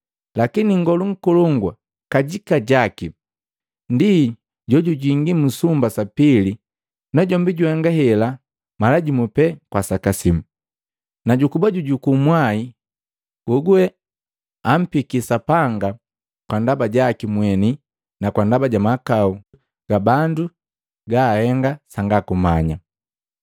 Lakini Nngolu Nkolongu kajika jaki ndi jojujingi mu sumba sa pili, najombi juhenga hela mala jimu pee kwa saka simu, na jukuba jujuku mwai jejuje ampiki Sapanga kwa ndaba jaki mweni na ndaba ja mahakau ga bandu gabahengi sanga kumanya.